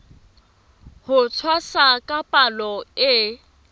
ho tshwasa ka palo e